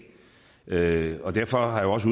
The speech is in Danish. derfor derfor har jeg også